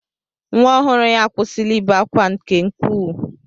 Nwa ọhụrụ ya akwụsịla ibe akwa nke ukwuu.